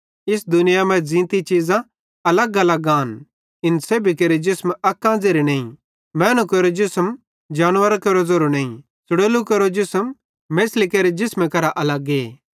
इस दुनियाई मां हर ज़ींती चीज़ां अलगअलग आन इन सेब्भी केरो जिसम अक्कां ज़ेरे नईं मैनू केरो जिसम केरो जिसम जानवरां केरो ज़ेरो नईं च़लोड़ू केरो जिसम मेछ़ली केरो जिसम करां अलगे